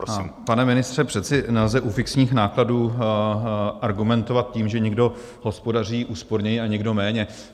Pane ministře, přece nelze u fixních nákladů argumentovat tím, že někdo hospodaří úsporněji a někdo méně.